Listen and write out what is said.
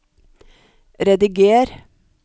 rediger